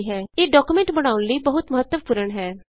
ਇਹ ਡਾਕੂਮੈਂਟ ਬਣਾਉਣ ਲਈ ਬਹੁਤ ਮਹੱਤਵਪੂਰਣ ਹੈ